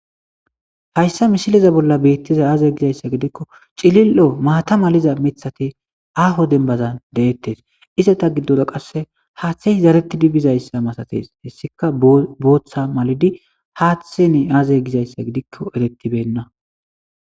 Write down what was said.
Hayssa mishileza bolla beittiza aaze gizayssa gidikko cilil'o maata maliza mithati aho dembazan deettes iseta giddora qasse haaththe zarettidi bizayssa masates hessika booththa malidi haaththeni aaze gizayssa gidikko erettibenna.